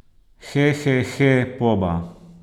Hehehe, poba!